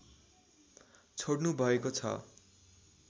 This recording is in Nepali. छोडनु भएको छ